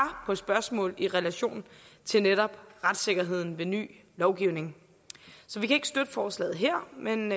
på spørgsmål i relation til netop retssikkerheden ved ny lovgivning så vi kan ikke støtte forslaget her men